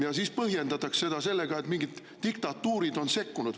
Ja siis põhjendatakse seda sellega, et mingid diktatuurid on sekkunud.